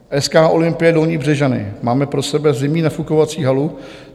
SK Olympie Dolní Břežany: "Máme pro sebe zimní nafukovací halu.